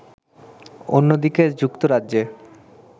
অন্যদিকে যুক্তরাজ্যে